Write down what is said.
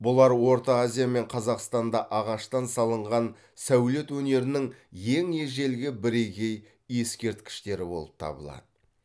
бұлар орта азия мен қазақстанда ағаштан салынған сәулет өнерінің ең ежелгі бірегей ескерткіштері болып табылады